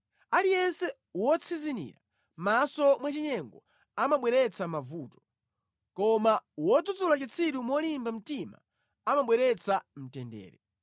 Aliyense wotsinzinira maso mwachinyengo amabweretsa mavuto, koma wodzudzula chitsiru molimba mtima amabweretsa mtendere.